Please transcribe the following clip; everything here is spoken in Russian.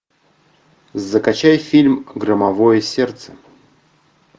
закачай фильм громовое сердце